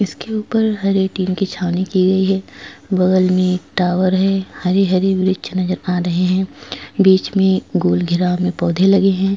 इसके ऊपर हरे टिन की छावनी की गई हैं बगल में टावर हैं हरे हरे वृक्ष नज़र आ रहे हैं बीच में गोल घेराव में पौधे लगे हैं।